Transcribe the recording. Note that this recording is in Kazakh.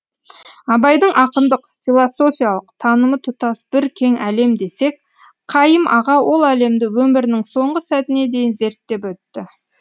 абайдың ақындық философиялық танымы тұтас бір кең әлем десек қайым аға ол әлемді өмірінің соңғы сәтіне дейін зерттеп өтті